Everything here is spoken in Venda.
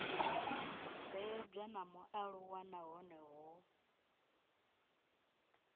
bebwa na mualuwa nahone hu